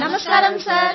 నమస్కారం సార్